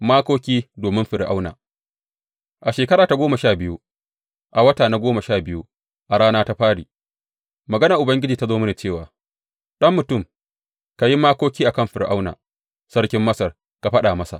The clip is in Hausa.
Makoki domin Fir’auna A shekara ta goma sha biyu, a wata na goma sha biyu a rana ta fari, maganar Ubangiji ta zo mini cewa, Ɗan mutum, ka yi makoki a kan Fir’auna sarkin Masar ka faɗa masa.